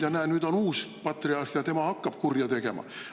Ja näe, nüüd on uus patriarh, ja tema hakkab kurja tegema.